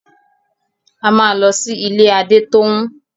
A máa lọ sí ilé Adétóun.